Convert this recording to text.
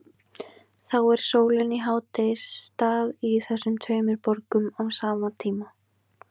Þá er sólin í hádegisstað í þessum tveimur borgum á sama tíma.